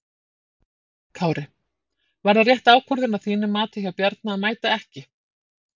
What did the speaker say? Höskuldur Kári: Var það rétt ákvörðun að þínu mati hjá Bjarna að mæta ekki?